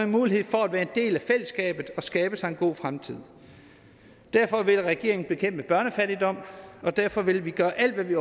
mulighed for at være en del af fællesskabet og skabe sig en god fremtid derfor vil regeringen bekæmpe børnefattigdom og derfor vil vi gøre alt hvad vi